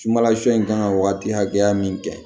Sumala suɲɛ in kan ka waati hakɛya min kɛ